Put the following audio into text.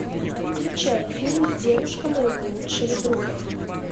включай фильм девушка моего лучшего друга